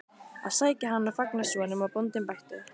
að sækja hann og fanga svo, nema bóndinn bætti.